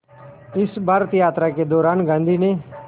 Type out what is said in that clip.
इस भारत यात्रा के दौरान गांधी ने